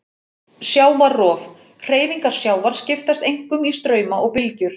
Sjávarrof: Hreyfingar sjávar skiptast einkum í strauma og bylgjur.